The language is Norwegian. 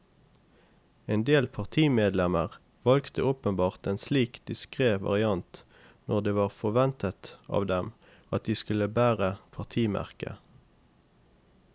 En del partimedlemmer valgte åpenbart en slik diskret variant når det var forventet av dem at de skulle bære partimerket.